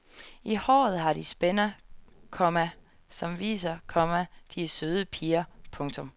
I håret har de spænder, komma som viser, komma de er søde piger. punktum